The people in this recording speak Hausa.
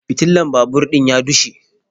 Fitilan babur din ya dushe